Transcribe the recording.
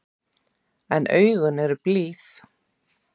En augun eru blíð.